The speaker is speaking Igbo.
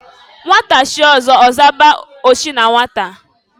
Nnwata chie ọzọ, ọzaba ochi na nwata.